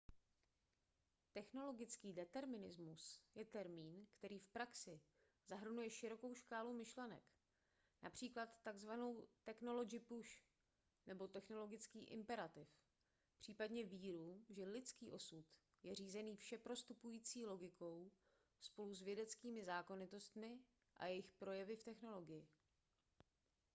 technologický determinismus je termín který v praxi zahrnuje širokou škálu myšlenek například tzv technology pusch nebo technologický imperativ případně víru že lidský osud je řízený všeprostupující logikou spolu s vědeckými zákonitostmi a jejich projevy v technologii